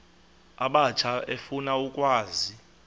abatsha efuna ukwazi